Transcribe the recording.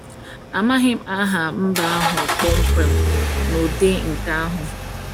Amaghị m aha mba ahụ kpọmkwem n’ụdị nke ahụ.